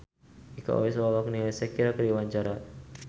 Iko Uwais olohok ningali Shakira keur diwawancara